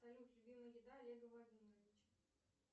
салют любимая еда олега владимировича